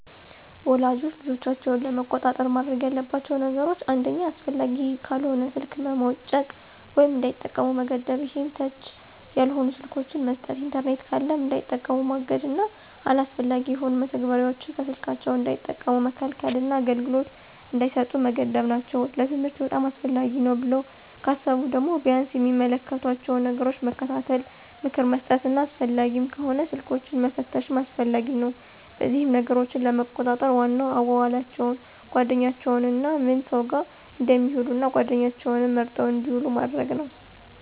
ወላጆች ልጆቻቸውን ለመቆጣጠር ማድረግ ያለባቸው ነገሮች አንደኛ አስፈላጊ ካልሆነ ስልክ መሞጨቅ ወይም እንዳይጠቀሙ መገደብ ይሄም ተች ያልሆኑ ስልኮችን መስጠት። ኢንተርኔት ካለም እንዳይጠቀሙ ማገድና አላስፈላጊ የሆኑ መተግበሪያዎችን ከስልካቸው እንዳይጠቀሙ መከልከልና አገልግሎት እንዳይሰጡ መገደብ ናቸው። ለትምህርት በጣም አስፈላጊ ነው ብለው ካሰቡ ደግሞ ቢያንስ የሚመለከቷቸውን ነገሮች መከታተል፣ ምክር መስጠትና አስፈላጊም ከሆነ ስልኮችንን መፈተሽም አስፈላጊ ነው። በዚህም ነገሮችን ለመቆጣጠር ዋናው አዋዋላቸውን፣ ጓደኛቸውንና ምን ሰው ጋር እንደሚውሉ እና ጓደኛቸውም መርጠው እንድውሉ ማድረግ ነው።